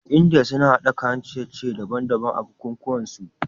India suna hada kayan ciye ciye daban daban a buku kuwan su